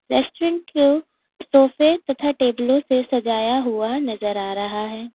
Restaurant को सोफे तथा टेबलों से सजाया हुआ नजर आ रहा है।